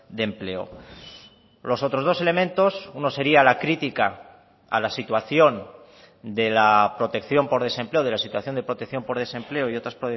de empleo los otros dos elementos uno sería la crítica a la situación de la protección por desempleo de la situación de protección por desempleo y otras